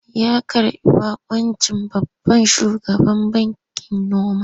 Ya karɓi baƙuncin babban shugaban bankin noma.